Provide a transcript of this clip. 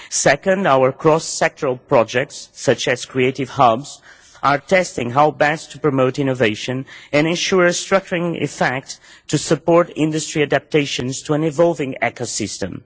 Second, our cross sectoral projects, such as creative hubs, are testing how best to promote innovation and ensure a structuring effect to support industry adaptations to an evolving ecosystem.